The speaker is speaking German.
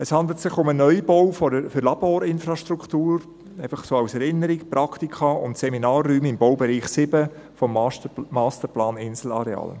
Es handelt sich um einen Neubau für Laborinfrastruktur – dies einfach so zur Erinnerung – und für Praktika- und Seminarräume im Baubereich 7 des Masterplans Inselareal.